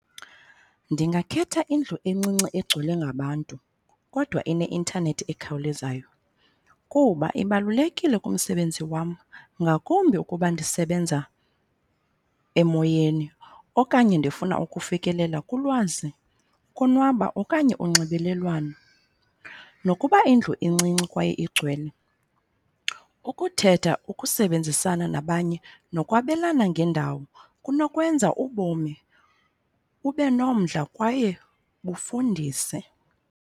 Ndingakhetha indlu encinci egcwele ngabantu kodwa eneintanethi ekhawulezayo kuba ibalulekile kumsebenzi wam ngakumbi ukuba ndisebenza emoyeni okanye ndifuna ukufikelela kulwazi, ukonwaba, okanye unxibelelwano. Nokuba indlu incinci kwaye igcwele ukuthetha, ukusebenzisana nabanye, nokwabelana ngendawo kunokwenza ubomi ube nomdla kwaye bufundise.